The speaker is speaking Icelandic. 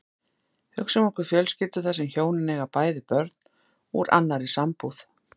Hugsum okkur fjölskyldu þar sem hjónin eiga bæði börn úr annarri sambúð.